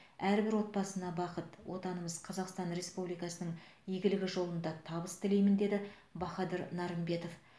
әрбір отбасыға бақыт отанымыз қазақстан республикасының игілігі жолында табыс тілеймін деді бахадыр нарымбетов